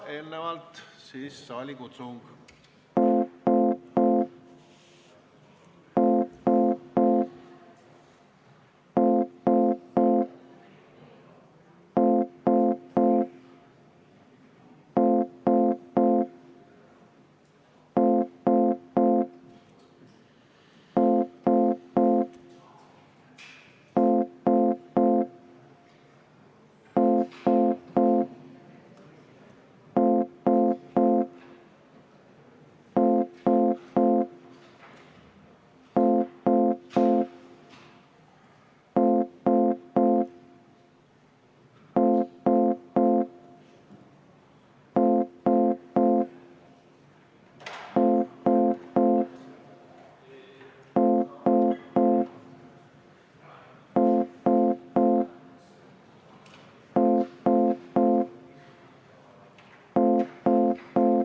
Eelnevalt aga saalikutsung.